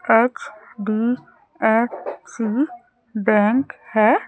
HDFC bank है।